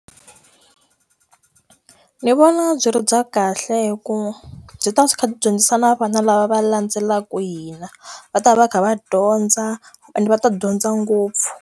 Ndzi vona byi ri bya kahle hikuva byi ta kha byi dyondzisa na vana lava va landzelaka hina, va ta va va kha va dyondza ende va ta dyondza ngopfu.